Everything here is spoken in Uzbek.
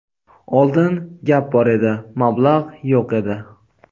Oldin gap bor edi, mablag‘ yo‘q edi.